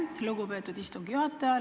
Aitäh, lugupeetud istungi juhataja!